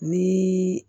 Ni